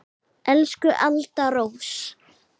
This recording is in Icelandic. Elsku Alda Rós.